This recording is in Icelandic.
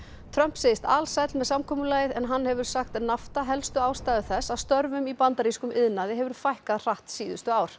Trump segist alsæll með samkomulagið en hann hefur sagt helstu ástæðu þess að störfum í bandarískum iðnaði hefur fækkað hratt síðustu ár